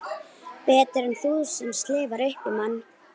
Betur en þú sem slefar upp í mann.